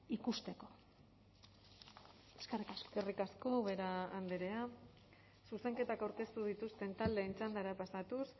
ikusteko eskerrik asko eskerrik asko ubera andrea zuzenketak aurkeztu dituzten taldeen txandara pasatuz